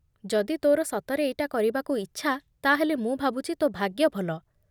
ଯଦି ତୋ'ର ସତରେ ଏଇଟା କରିବାକୁ ଇଚ୍ଛା, ତା'ହେଲେ ମୁଁ ଭାବୁଛି ତୋ ଭାଗ୍ୟ ଭଲ ।